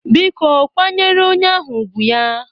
Biko kwanyere onye ahụ ùgwù ya!